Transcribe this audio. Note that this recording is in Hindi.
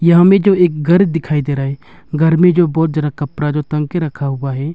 यहाँ में जो एक घर दिखाई दे रहा है घर में जो बहुत ज्यादा कपड़ा जो टंग के रखा हुआ है।